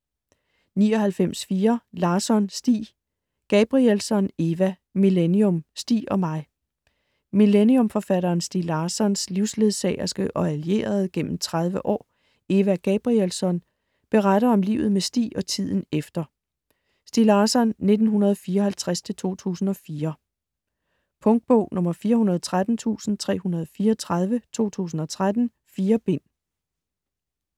99.4 Larsson, Stieg Gabrielsson, Eva: Millennium - Stieg og mig Millennium-forfatteren Stieg Larssons (1954-2004) livsledsagerske og allierede igennem 30 år, Eva Gabrielsson, beretter om livet med Stieg og tiden efter. Punktbog 413334 2013. 4 bind.